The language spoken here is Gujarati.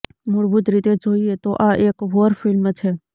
મૂળભૂત રીતે જોઈએ તો આ એક વોર ફિલ્મ છે